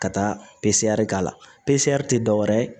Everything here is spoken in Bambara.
Ka taa k'a la tɛ dɔwɛrɛ ye